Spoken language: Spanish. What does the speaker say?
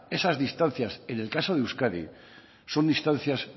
esas distancias en el caso de euskadi son distancias